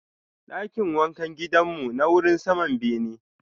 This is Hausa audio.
Dakin wankan gidan mu na wurin saman bene.